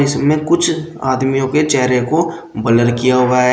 इसमें कुछ आदमियों के चेहरे को ब्लर किया हुआ है।